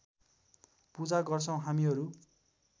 पूजा गर्छौं हामीहरू